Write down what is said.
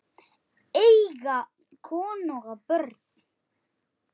Eiga konu og börn?